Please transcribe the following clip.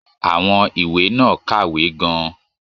Àwọn ìwé náà kàwé gan-an.